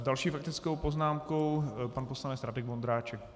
S další faktickou poznámkou pan poslanec Radek Vondráček.